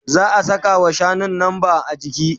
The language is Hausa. Za'a sakawa shanun lamba. ajiki